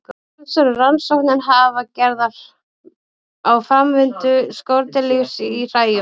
Talsverðar rannsóknir hafa verið gerðar á framvindu skordýralífs í hræjum.